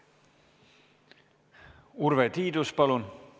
Urve Tiidus, palun!